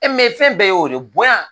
E fɛn bɛɛ ye o de ye bonya.